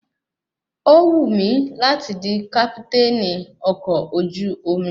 Ó wù mí láti di kápítènì ọkọ̀ ojú omi